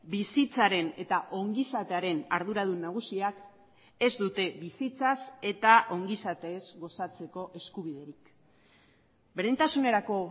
bizitzaren eta ongizatearen arduradun nagusiak ez dute bizitzaz eta ongizatez gozatzeko eskubiderik berdintasunerako